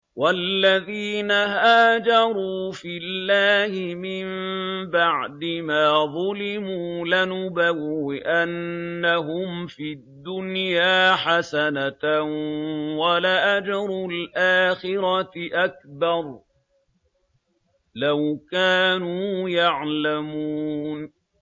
وَالَّذِينَ هَاجَرُوا فِي اللَّهِ مِن بَعْدِ مَا ظُلِمُوا لَنُبَوِّئَنَّهُمْ فِي الدُّنْيَا حَسَنَةً ۖ وَلَأَجْرُ الْآخِرَةِ أَكْبَرُ ۚ لَوْ كَانُوا يَعْلَمُونَ